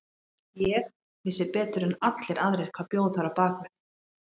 Ég vissi betur en allir aðrir hvað bjó þar á bak við.